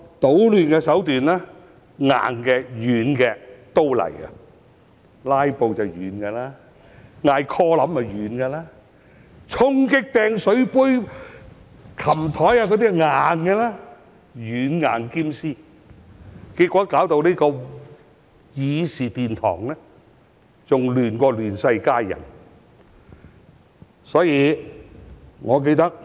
搗亂的手段硬的、軟的都有，"拉布"是軟的，要求點 quorum 是軟的，衝擊主席台、擲水杯、爬上桌子那些是硬的，他們"軟硬兼施"，結果導致議事殿堂比"亂世佳人"更亂。